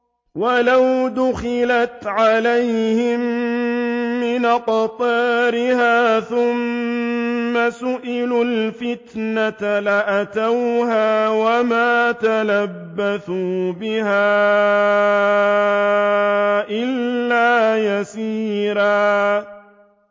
وَلَوْ دُخِلَتْ عَلَيْهِم مِّنْ أَقْطَارِهَا ثُمَّ سُئِلُوا الْفِتْنَةَ لَآتَوْهَا وَمَا تَلَبَّثُوا بِهَا إِلَّا يَسِيرًا